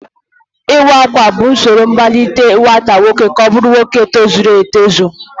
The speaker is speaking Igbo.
Iwa Akwa bụ usoro mmalite nwata nwoke ka ọ bụrụ nwoke tozuru etozu